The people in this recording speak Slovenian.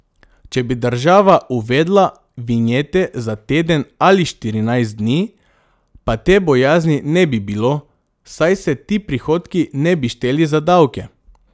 Če bi država uvedla vinjete za teden ali štirinajst dni, pa te bojazni ne bi bilo, saj se ti prihodki ne bi šteli za davke.